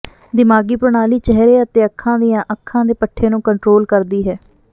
ਦਿਮਾਗੀ ਪ੍ਰਣਾਲੀ ਚਿਹਰੇ ਅਤੇ ਅੱਖਾਂ ਦੀਆਂ ਅੱਖਾਂ ਦੇ ਪੱਠੇ ਨੂੰ ਕੰਟਰੋਲ ਕਰਦੀ ਹੈ